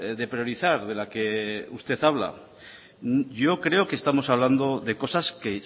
de priorizar de la que usted habla yo creo que estamos hablando de cosas que